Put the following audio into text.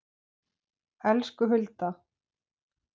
Elsku Hulda.